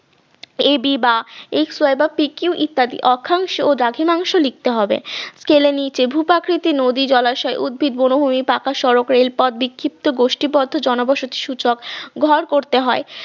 এই দিবা pq ইত্যাদি অক্ষাংশ বা দ্রাঘিমাংশ লিখতে হবে তাহলে নিচে ভূ প্রাকৃতিক নদী জলাশয় উদ্ভিদ বনভূমি পাকা সড়ক রেল পথ বিক্ষিপ্ত গোষ্ঠী পথ জনবসতি সূচক ঘর করতে হয়